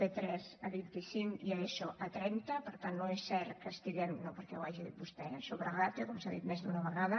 p3 a vint cinc i eso a trenta per tant no és cert que estiguem no perquè ho hagi dit vostè eh sobre ràtio com s’ha dit més d’una vegada